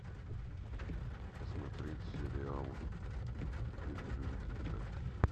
посмотреть сериал люди любят летать